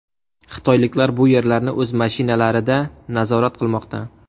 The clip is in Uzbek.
Xitoyliklar bu yerlarni o‘z mashinalarida nazorat qilmoqda.